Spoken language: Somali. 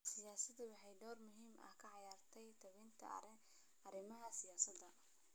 Saxaafaddu waxay door muhiim ah ka ciyaartaa tebinta arrimaha siyaasadda.